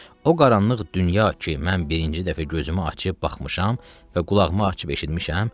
O qaranlıq dünya ki, mən birinci dəfə gözümü açıb baxmışam və qulağımı açıb eşitmişəm.